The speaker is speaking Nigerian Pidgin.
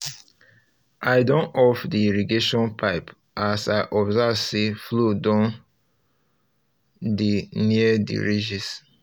i um don off um the irrigation pipe as um i observe say flow don flow don dey near the ridges